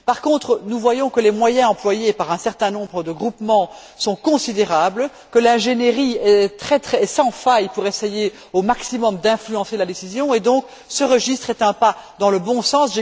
Par contre, nous voyons que les moyens employés par un certain nombre de groupements sont considérables, que l'ingénierie est sans faille pour essayer au maximum d'influencer la décision, et ce registre est donc un pas dans le bon sens.